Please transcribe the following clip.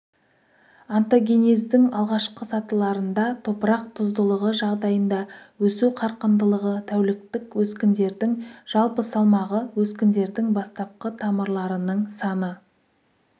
онтогенездің алғашқы сатыларында топырақ тұздылығы жағдайында өсу қарқындылығы тәуліктік өскіндердің жалпы салмағы өскіндердің бастапқы тамырларының саны